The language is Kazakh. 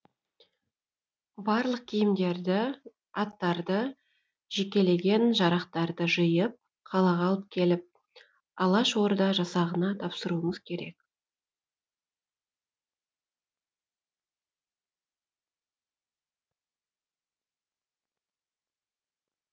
барлық киімдерді аттарды жекелеген жарақтарды жиып қалаға алып келіп алашорда жасағына тапсыруыңыз керек